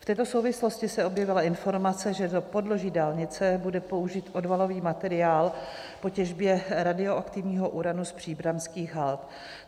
V této souvislosti se objevila informace, že do podloží dálnice bude použit odvalový materiál po těžbě radioaktivního uranu z příbramských hald.